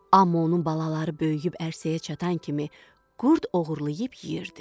Amma onun balaları böyüyüb ərsəyə çatan kimi qurd oğurlayıb yeyirdi.